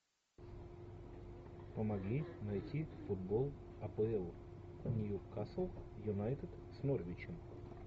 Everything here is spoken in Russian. помоги найти футбол апл ньюкасл юнайтед с норвичем